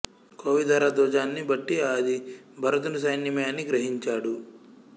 కోవిదార ధ్వజాన్ని బట్టి అది భరతుని సైన్యమే అని గ్రహించాడు